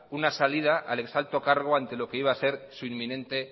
una salida al ex alto cargo ante lo que iba a ser su inminente